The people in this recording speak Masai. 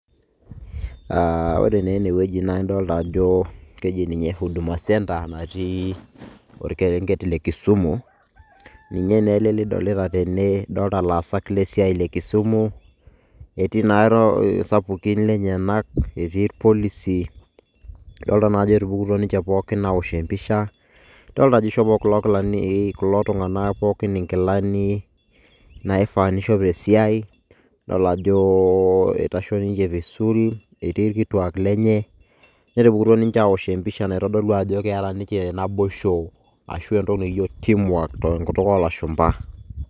Ah ore naa enewueji na idolta ajo keji ninye huduma centre natii orkerenket le Kisumu, ninye naa ele lidolita tene, dolta loosak le siai le kisumu. Etii na isapukin lenyanak, etii irpolisi. Dolta najo etupukutuo ninche pookin awosh empisha, dolta ajo ishopo kulo kilani kulo tung'anak pookin inkilani, naifaa nishop tesiai, idol ajo eitasho ninche tesul. Etii irkituak lenye, netupukutuo ninche awosh empisha naitodolu ajo keeta ninche naboisho, ashu entoki nikijo team work ,tenkutuk olashumpa.